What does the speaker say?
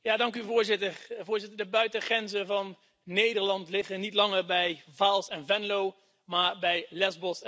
Voorzitter, de buitengrenzen van Nederland liggen niet langer bij Vaals en Venlo, maar bij Lesbos en Lampedusa.